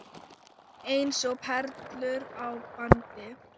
Eins og perlur á bandi.